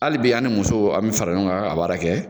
Hali bi an ni musow an bi fara ɲɔgɔn kan, k'a baara kɛ